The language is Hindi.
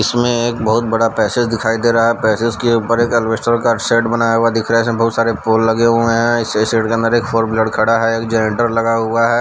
इसमें एक बहुत बड़ा पैसेज दिखाई दे रहा है पैसेज के ऊपर एक ऐलबैस्टर का शेड बना हुआ दिख रहा है इसमें बहुत सारे पोल लगे हुए हैं इस से शेड के अंदर एक फोर व्हीलर खड़ा है एक जनरेटर लगा हुआ है।